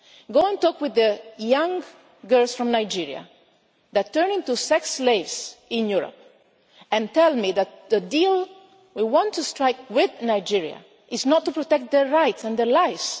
Go and talk with the young girls from Nigeria who turn into sex slaves in Europe and tell me that the deal we want to strike with Nigeria is not to protect their rights and their